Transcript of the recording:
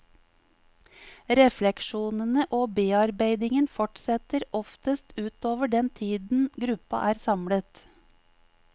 Refleksjonene og bearbeidingen fortsetter oftest utover den tiden gruppa er samlet.